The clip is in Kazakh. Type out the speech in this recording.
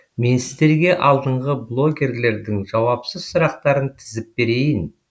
мен сіздерге алдыңғы блогерлердің жауапсыз сұрақтарын тізіп берейін